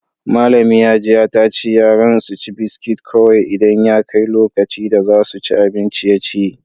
Malami Hajiya ta ce yaran su ci biskit kowai idan ya kai lokaci da za su ci abin ciye-ciye.